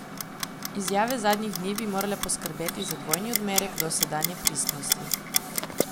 Izjave zadnjih dni bi morale poskrbeti za dvojni odmerek dosedanje prisotnosti.